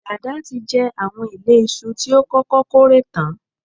Dàda tí jẹ àwọn ìlé iṣu tí ó kọ́kọ́ kórè tán.